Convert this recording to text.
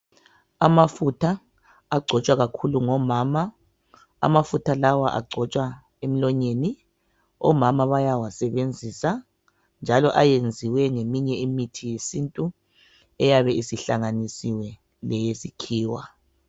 amafutha agcotshwa kakhulu ngabo mama amafutha lawa agcotshwa emlonyeni omama bayakwanisa kakhulu njalo ayenziwe ngeminye imithi yesintu njalo iyabe isihlanganiswe lemithi yesikhiwa